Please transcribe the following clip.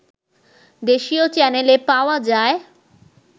দেশীয় চ্যানেলে পাওয়া যায়